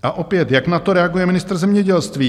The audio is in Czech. A opět, jak na to reaguje ministr zemědělství?